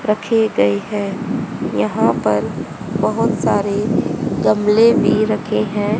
रखे गए हैं। यहां पर बहुत सारे गमले भी रखे हैं।